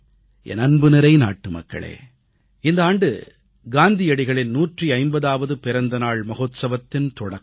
என் அன்புநிறை நாட்டுமக்களே இந்த ஆண்டு காந்தியடிகளின் 150ஆவது பிறந்தநாள் மகோத்சவத்தின் தொடக்கம்